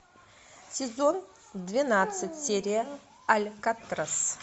сезон двенадцать серия алькатрас